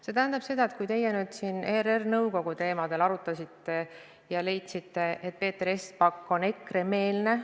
Te arutasite siin ERR-i nõukogu koosseisu ja leidsite, et Peeter Espak on EKRE-meelne.